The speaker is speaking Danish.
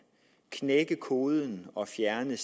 knække koden og fjerne